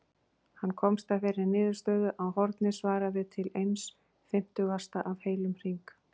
Hann komst að þeirri niðurstöðu að hornið svaraði til eins fimmtugasta af heilum hring.